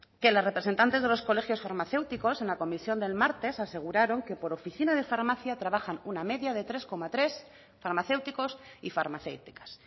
que las representantes de los colegios farmacéuticos en la comisión del martes aseguraron que por oficina de farmacia trabajan una media de tres coma tres farmacéuticos y farmacéuticas